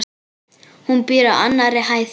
Hún býr á annarri hæð.